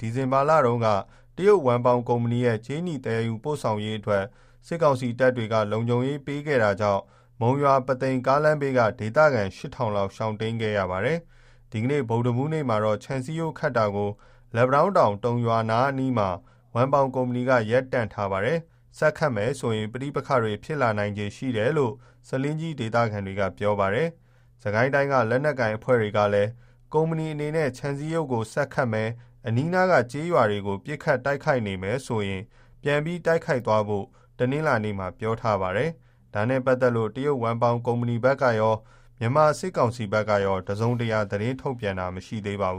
ဒီဇင်ဘာလတုန်းကလည်း တရုတ်ဝမ်ပေါင်ကုမ္ပဏီရဲ့ ကြေးနီ သယ်ယူပို့ဆောင်ရေးအတွက် စစ်ကောင်စီတပ်တွေက လုံခြုံရေး ပေးခဲ့တာကြောင့် မုံရွာ-ပုသိမ် ကားလမ်းဘေးက ဒေသခံတွေ ၈,၀၀၀ လောက် ရှောင်တိမ်းခဲ့ရပါတယ်။ ဒီနေ့ ဗုဒ္ဓဟူးနေ့မှာတော့ ခြံစည်းရိုးခတ်တာကို လက်ပံတောင်းတောင်၊ တုံရွာနားမှာ ဝမ်ပေါင်ကုမ္ပဏီက ရပ်တန့်ထားပါတယ်။ ဆက်ခတ်မယ်ဆိုရင် ပဋိပက္ခတွေ ဖြစ်လာနိုင်ခြေရှိတယ်လို့ ဆားလင်းကြီး ဒေသခံတွေက ပြောပါတယ်။ စစ်ကိုင်းတိုင်းက လက်နက်ကိုင်အဖွဲ့တွေကလည်း ကုမ္ပဏီ အနေနဲ့ ခြံစည်းရိုးကို ဆက်ခတ်မယ်၊ အနီးနား ကျေးရွာတွေကို ပစ်ခတ် တိုက်ခိုက်နေမယ်ဆိုရင် ပြန်ပြီး တိုက်ခိုက်သွားဖို့ တနင်္လာနေ့မှာ ပြောပါတယ်။ ဒါနဲ့ပတ်သက်လို့ တရုတ်ဝမ်ပေါင် ကုမ္ပဏီဘက်ကရော၊ မြန်မာ စစ်ကောင်စီကရော တစုံတရာ သတင်းထုတ်ပြန်တာ မရှိသေးပါဘူး။